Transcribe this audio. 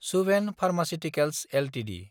Subhen pharmaceuticals Ltd